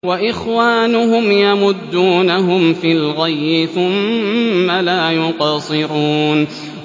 وَإِخْوَانُهُمْ يَمُدُّونَهُمْ فِي الْغَيِّ ثُمَّ لَا يُقْصِرُونَ